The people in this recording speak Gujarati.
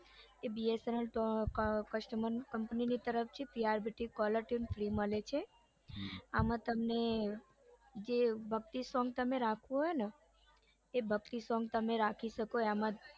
એ bsnl customer company ની તરફથી caller tune free મળે છે આમ તમને જે ભક્તિ song જે રાખવું હોય ને એ ભક્તિ song તમે રાખી શકો એમાં જ